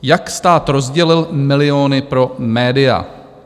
"Jak stát rozdělil miliony pro média?